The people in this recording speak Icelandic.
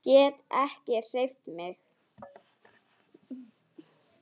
Get ekki hreyft mig.